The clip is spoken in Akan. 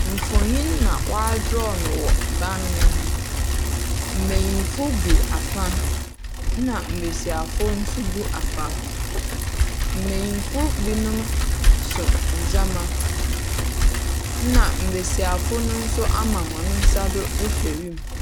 Mfonin na w'adraw no wɔ ban no ho. Mmayimfo gu fa ɛna mmasiwafo gu afa. Mmayimfo binom so nnoɔma na mmasiwafo no nso ama wɔn nsa do rehwɛ wiem.